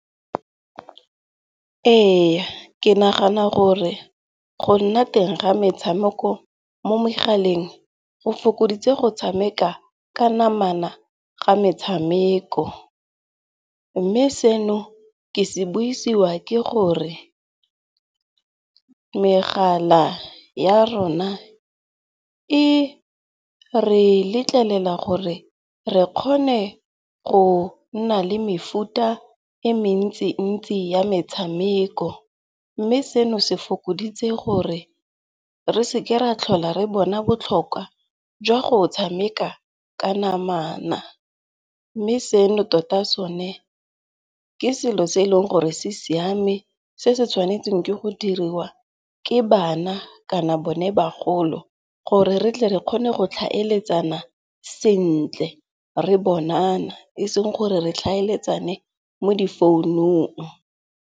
Eya, ke nagana gore go nna teng ga metshameko mo megaleng go fokoditse go tshameka ka namana ga metshameko. Mme seno ke se buisiwa ke gore megala ya rona e re letlelela gore re kgone go nna le mefuta e mentsi-ntsi ya metshameko. Mme seno se fokoditse gore re seke ra tlhola re bona botlhokwa jwa go tshameka ka namana. Mme seno tota sone ke selo se e leng gore se siame se se tshwanetseng ke go diriwa ke bana kana bone bagolo gore re tle re kgone go tlhaeletsana sentle. Re bonana eseng gore re tlhaeletsane mo di founung.